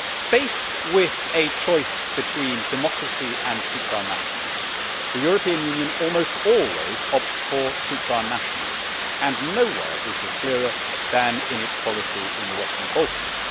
Faced with a choice between democracy and supra nationalism, the European Union almost always opts for supra nationalism and nowhere is this clearer than in its policy in the Western Balkans.